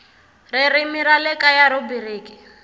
ririmi ra le kaya rhubiriki